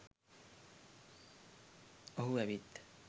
ඔහු ඇවිත්